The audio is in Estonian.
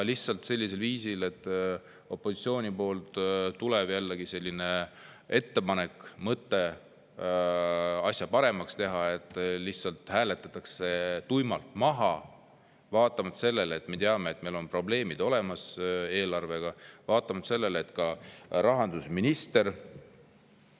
et kui opositsioonilt tuleb ettepanek või mõte asja paremaks teha, siis see lihtsalt hääletatakse tuimalt maha, vaatamata sellele, et me teame, et meil on eelarves probleemid olemas, vaatamata sellele, et kui rahandusminister …